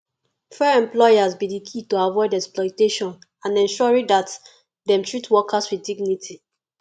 fair employers be di key to avoid exploitation and ensuring dat dem treat workers with dignity